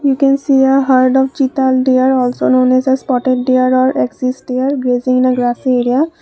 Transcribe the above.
We can see a herd of chital deer also known as a spotted deer or axis deer grazing a grassy area.